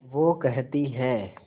वो कहती हैं